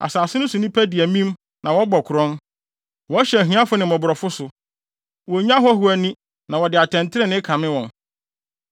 Asase no so nnipa di amim na wɔbɔ korɔn; wɔhyɛ ahiafo ne mmɔborɔfo so, wonnye ahɔho ani na wɔde atɛntrenee kame wɔn.